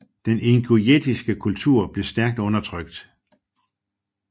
Den ingusjetiske kultur blev stærkt undertrykt